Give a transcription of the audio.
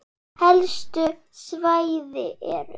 Helstu svæði eru